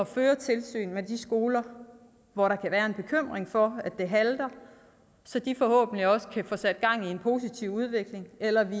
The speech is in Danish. føre tilsyn med de skoler hvor der kan være en bekymring for at det halter så de forhåbentlig også kan få sat gang i en positiv udvikling eller at vi